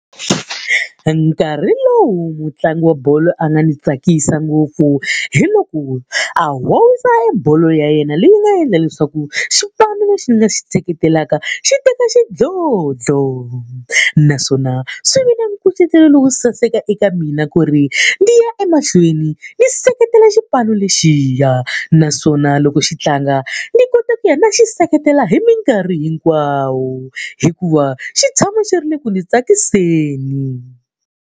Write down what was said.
Nkarhi lowu mutlangi wa bolo a nga ni tsakisa ngopfu hi loko a howisa ebolo ya yena leyi nga endla leswaku xipano lexi ni nga xi seketelaka xi teka xidlodlo. Naswona swi ve na nkucetelo lowo saseka eka mina ku ri, ni ya emahlweni ni seketela xipano lexiya. Naswona loko xi tlanga, ni kota ku ya ni ya xi seketela hi minkarhi hinkwayo hikuva xi tshama xi ri eku ndzi tsakiseni.